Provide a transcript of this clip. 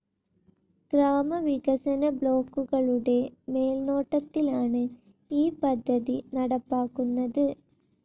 ഗ്രാമവികസന ബ്ലോക്കുകളുടെ മേൽനോട്ടത്തിലാണ്‌ ഈ പദ്ധതി നടപ്പാക്കുന്നത്.